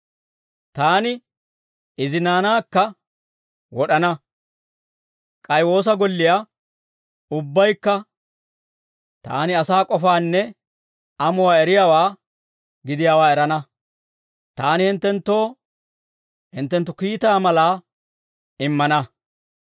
Taani izi naanaakka wod'ana; k'ay woosa golliyaa ubbaykka taani asaa k'ofaanne amuwaa eriyaawaa gidiyaawaa erana; taani hinttenttoo hinttenttu kiitaa malaa immana.